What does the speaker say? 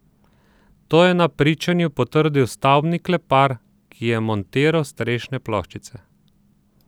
To je na pričanju potrdil stavbni klepar, ki je montiral strešne ploščice.